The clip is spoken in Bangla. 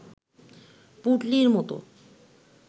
পুঁটলির মত